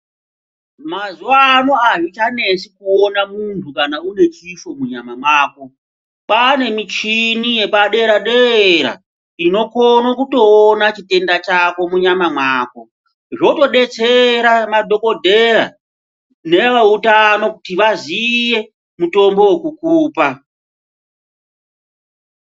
Mazuwano azvichanetsi kuona muntu kana une chifo munyama mwako kwane michini yepadera dera inokone kutoona chitenda chako munyama mwako. Zvotodetsera madhokodheya neveutano kuti vaziye mutombo wekukupa.